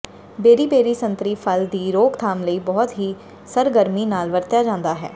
beriberi ਸੰਤਰੀ ਫਲ ਦੀ ਰੋਕਥਾਮ ਲਈ ਬਹੁਤ ਹੀ ਸਰਗਰਮੀ ਨਾਲ ਵਰਤਿਆ ਜਾਦਾ ਹੈ